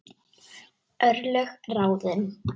Örlög ráðin